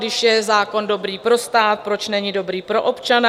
Když je zákon dobrý pro stát, proč není dobrý pro občana?